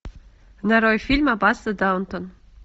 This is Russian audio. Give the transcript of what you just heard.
нарой фильм аббатство даунтон